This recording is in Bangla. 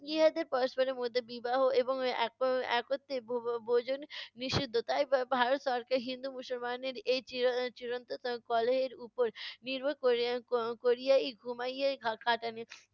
ইহাদের পরস্পরের মধ্যে বিবাহ এবং এক~ একত্রে ভো~ ভো~ ভোজন নিষিদ্ধ। তাই ভা~ ভারত সরকার হিন্দু মুসলমানের এই চির~ এর চিরন্তন কলহের উপর নির্ভর ক'রে~ করিয়াই ঘুমাইয়াই থা~ কাটান।